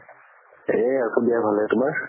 এহ আছো দিয়া ভালে, তোমাৰ?